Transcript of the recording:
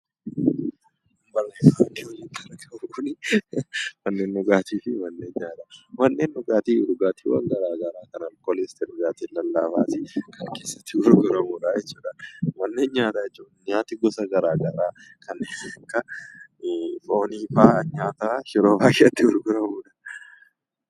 Manneen dhugaatii dhugaatiiwwan garaagaraa kan of keessatti qabatee fi kan keessatti gurguramudha jechuudha. Manneen nyaataa jechuun immoo nyaati gosa garaagaraa kanneen akka foonii fa'aa yeroo baay'ee itti gurguramudha.